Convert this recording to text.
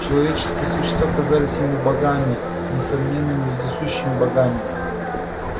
человеческие существа казались ему богами несомненными и вездесущими богами